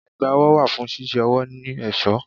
Ẹ̀gbá ọwọ́ wà fún ṣíṣe ọwọ́ ní ẹ̀ṣọ́.